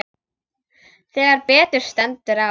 Þegar betur stendur á.